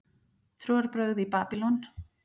Trúarbrögð í Babýlon